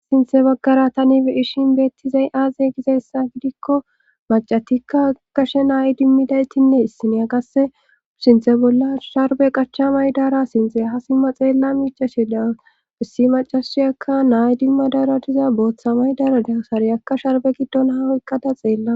Sinthe baggara tani ishin beettizay aaze gizeessa gidikko macatikka kashe nay dimmidaytinne issiniya qasse sinthe bolla sharbe qacha maydara sinthe ha simma xeella miichashe dan bihissi macashiyakka nay dimma dara diza booththa maydara deasariyakka sharbe giddon haweqqada xeella.